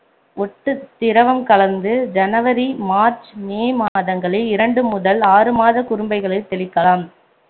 ஒட்டுத்திரவம் கலந்து ஜனவரி மார்ச் மே மாதங்களில் இரண்டு முதல் ஆறு மாத குரும்பைகளில் தெளிக்கலாம்